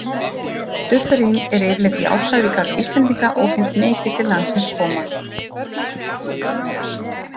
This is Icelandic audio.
Dufferin er yfirleitt jákvæður í garð Íslendinga og finnst mikið til landsins koma.